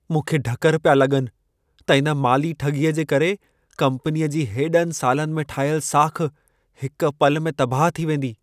मूंखे ढकरु पिया लॻनि त इन माली ठॻीअ जे करे कम्पनीअ जी हेॾनि सालनि में ठाहियल साख़, हिक पल में तबाह थी वेंदी।